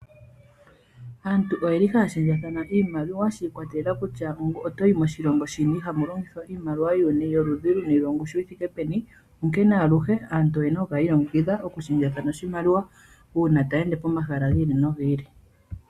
Aantu oye li haya shendjathana iimaliwa shi ikwatelela kutya oto yi moshilongo shini nohamu longithwa oshimaliwa sholudhi luni noshongushu yi thike peni, onkene aluhe aantu oye na okukala yi ilongekidha okushendjathana oshimaliwa uuna taya ende pomahala gi ili nogi ili.